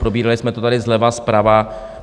Probírali jsme to tady zleva, zprava.